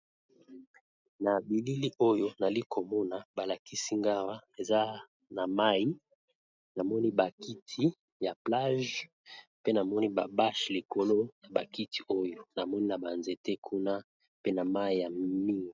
Na bilili oyo nazali komona awa eza mayi namoni ba kiti ya plage namoni bache likolo ya ba kiti oyo pe namoni ba nzete kuna pe na mayi.